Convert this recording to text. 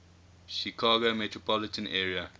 chicago metropolitan area